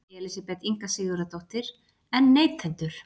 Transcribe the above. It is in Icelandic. Elísabet Inga Sigurðardóttir: En neytendur?